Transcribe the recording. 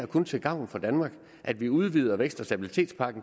kun til gavn for danmark at vi udvider stabilitets og